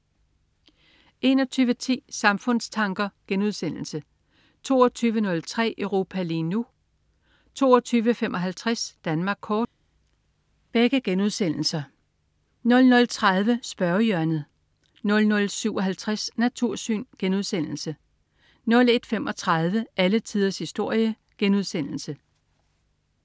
21.10 Samfundstanker* 22.03 Europa lige nu* 22.55 Danmark Kort* 00.30 Spørgehjørnet 00.57 Natursyn* 01.35 Alle tiders historie*